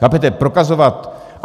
Chápete, prokazovat...